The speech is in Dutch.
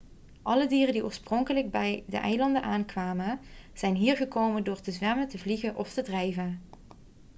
alle dieren die oorspronkelijk bij de eilanden aankwamen zijn hier gekomen door te zwemmen te vliegen of te drijven